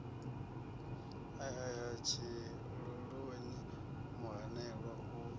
o ea tshiloloni muhanelwa u